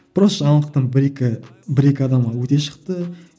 просто жаңалықтан бір екі бір екі адамға өте шықты